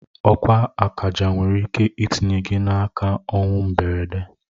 Okwu akaja nwere ike itinye gị n'aka ọnwụ mgberede.